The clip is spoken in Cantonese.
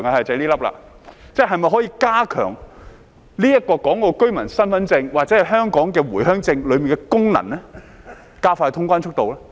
是否可以加強香港居民身份證或回鄉證當中的功能，以加快通關速度呢？